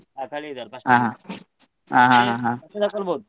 ಹಾ ಹೌದ್ ಕಲಿಯುದಲ first ಗೆ ಮತ್ತೆ ತೊಗೊಳ್ಬೋದು.